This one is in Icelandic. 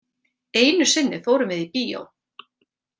Einu sinni fórum við í bíó.